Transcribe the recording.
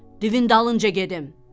divin darınca gedim.